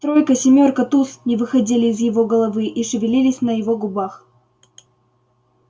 тройка семёрка туз не выходили из его головы и шевелились на его губах